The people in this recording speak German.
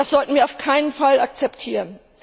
Das sollten wir auf keinen Fall akzeptieren.